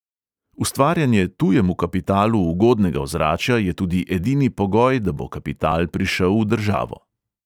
Ustvarjanje tujemu kapitalu ugodnega ozračja je tudi edini pogoj, da bo kapital prišel v državo.